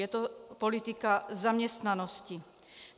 Je to politika zaměstnanosti.